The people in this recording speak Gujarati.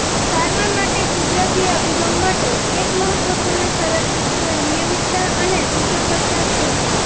સારવાર માટે કુદરતી અભિગમ માટે એક મહત્વપૂર્ણ શરત નિયમિતતા અને સુસંગતતા છે